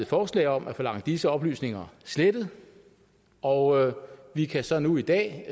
forslag om at forlange disse oplysninger slettet og vi kan så nu i dag